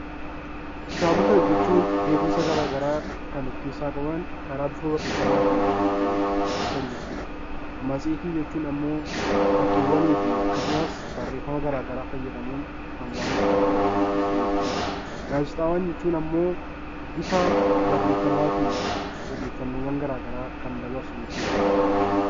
Kitaabota jechuun beekumsa garaagaraa kan of keessaa qabu karaa toora barreeffamaatiin kan ibsan jechuudha. Matseetii jechuun immoo fakkiiwwan akkasumas barreeffama garaagaraa fayyadamuun kan waan tokko ibsu jechuudha. Gaazexaawwan jechuun immoo bifa barreeffamaatiin odeeffannoo garaagaraa kan dabarsu jechuudha